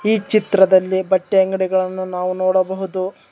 ಈ ಚಿತ್ರದಲ್ಲಿ ಬಟ್ಟೆ ಅಂಗಡಿಗಳನ್ನು ನಾವು ನೋಡಬಹುದು.